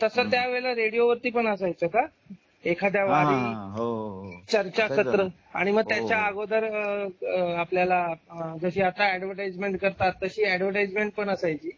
तर तस त्या वेळेला रेडिओ वरती पण असायचा का एखाद्या वारी हो हो चर्चासत्र आणि मग त्याच्या अगोदर आपल्याला आह जशी आता अॅडव्हाइसमेंट करतात अशी अॅडव्हाइस पणअसायची